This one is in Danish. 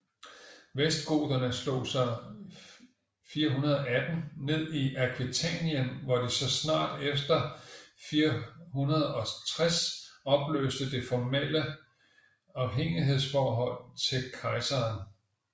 Vestgoterne slog sig 418 ned i Aquitanien hvor de så snart efter 460 opløste det formale afhængighedsforhold til kejseren